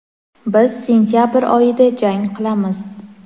biz sentyabr oyida jang qilamiz.